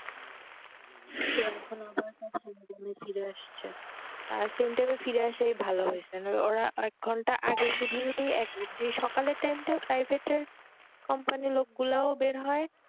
ছিল তারপরে আবার ফিরে আসছে, আর same টেবিল ফিরে আসাই ভালো বেশ, আর ওরা এক ঘন্টা আগে যে সকালের time টা company এর লোকগুলো বের হয়